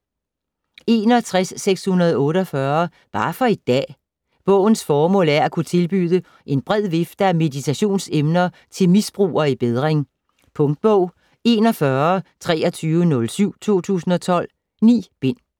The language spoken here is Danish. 61.648 Bare for i dag Bogens formål er at kunne tilbyde en bred vifte af meditationsemner til misbrugere i bedring. Punktbog 412307 2012. 9 bind.